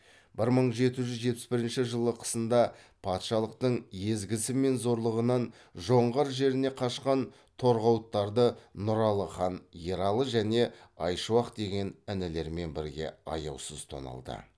бір мың жеті жүз жетпіс бірінші жылы қысында патшалықтың езгісі мен зорлығынан жоңғар жеріне кашқан торғауыттарды нұралы хан ералы және айшуақ деген інілерімен бірге аяусыз тоналды